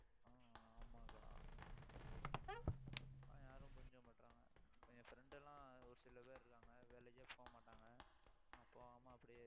ஆஹ் ஆமா அக்கா யாரும் புரிஞ்சிக்க மாட்டேன்றாங்க என் friend எல்லாம், ஒரு சில பேர் இருக்காங்க. வேலைக்கே போக மாட்டாங்க ஆஹ் போகாம அப்படியே